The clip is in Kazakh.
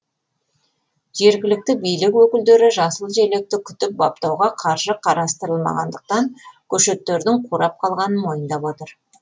жергілікті билік өкілдері жасыл желекті күтіп баптауға қаржы қарастырмағандықтан көшеттердің қурап қалғанын мойындап отыр